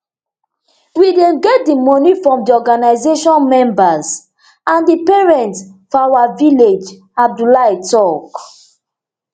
we dey get di moni from di organisation members and di parents for our village abdullahi tok